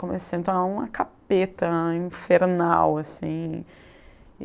Comecei a me tornar uma capeta, infernal assim.